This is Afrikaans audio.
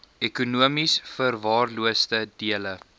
ekonomies verwaarloosde dele